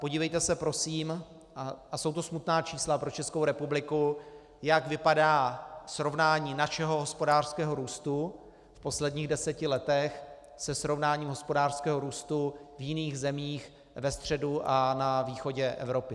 Podívejte se prosím, a jsou to smutná čísla pro Českou republiku, jak vypadá srovnání našeho hospodářského růstu v posledních deseti letech se srovnáním hospodářského růstu v jiných zemích ve středu a na východě Evropy.